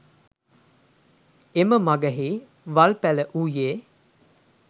එම මගෙහි වල්පැළ වූයේ